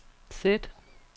sæt